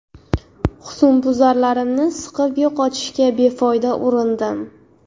Husnbuzarlarimni siqib yo‘qotishga befoyda urindim.